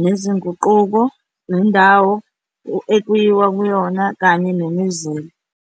nezinguquko, nendawo ekuyiwa kuyona kanye nemizila.